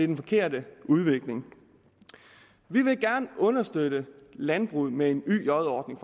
den forkerte udvikling vil gerne understøtte landbruget med en yj ordning